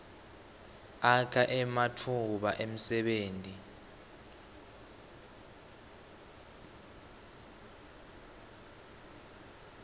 akha ematfuba emsebenti